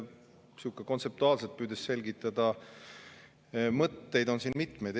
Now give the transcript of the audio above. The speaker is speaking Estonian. Püüdes kontseptuaalselt selgitada, mõtteid on siin mitmeid.